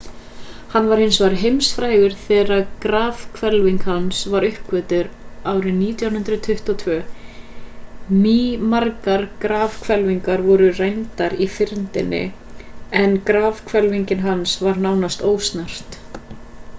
hann varð hins vegar heimsfrægur þegar grafhvelfing hans var uppgötvuð árið 1922. mýmargar grafhvelfingar voru rændar í fyrndinni en grafhvelfing hans var nánast ósnert